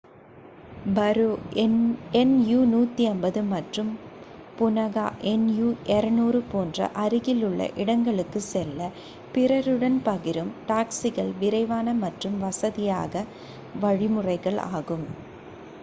பரோ nu 150 மற்றும் Punakha nu 200 போன்ற அருகிலுள்ள இடங்களுக்குச் செல்ல பிறருடன் பகிரும் டாக்சிகள் விரைவான மற்றும் வசதியான வழிமுறையாகும்